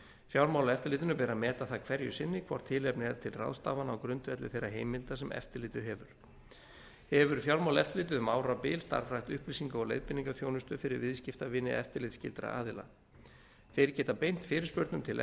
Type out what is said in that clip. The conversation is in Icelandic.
fjármálaeftirlitinu ber að meta það hverju sinni hvort tilefni er til ráðstafana á grundvelli þeirra heimilda sem eftirlitið hefur hefur fjármálaeftirlitið um árabil starfrækt upplýsinga og leiðbeiningaþjónustu fyrir viðskiptavini eftirlitsskyldra aðila þeir geta beint fyrirspurnum til